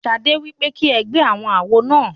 Ṣadé wípé kí ẹ gbé àwọn àwo náà.